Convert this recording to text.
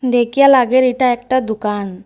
দেখিয়া লাগের এটা একটা দুকান ।